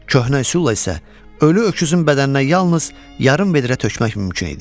Köhnə üsulla isə ölü öküzün bədəninə yalnız yarım vedrə tökmək mümkün idi.